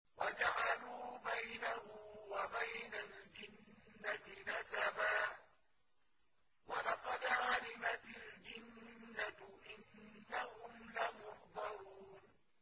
وَجَعَلُوا بَيْنَهُ وَبَيْنَ الْجِنَّةِ نَسَبًا ۚ وَلَقَدْ عَلِمَتِ الْجِنَّةُ إِنَّهُمْ لَمُحْضَرُونَ